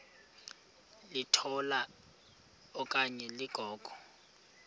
litola okanye ligogo